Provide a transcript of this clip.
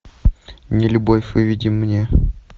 нелюбовь выведи мне